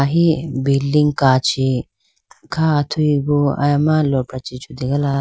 ahi building kachi ka athuyi bo aya ma lopra chee chutegala.